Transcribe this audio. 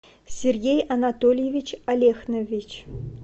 сергей анатольевич алехнович